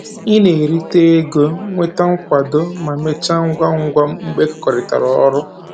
Ị na-erita ego, nweta nkwado, ma mechaa ngwa ngwa mgbe e kekọrịtara ọrụ